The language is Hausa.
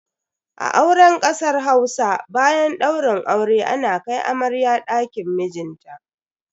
A auren kasar Hausa, bayan daurin aure ana kai amarya dakin mijinta.